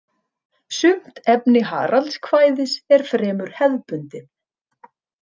Sumt efni Haraldskvæðis er fremur hefðbundið.